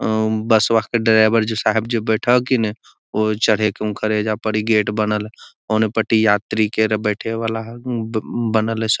उम बसवा के ड्राइवर जे साहब जे बैठा हकि ना वो चढ़े के उनखरा ऐजा पड़ी गेट बनल है ओने पटी यात्री के अर बैठे वाला है हम्म बनल है सब |